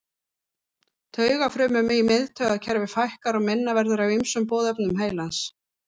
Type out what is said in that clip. Taugafrumum í miðtaugakerfi fækkar og minna verður af ýmsum boðefnum heilans.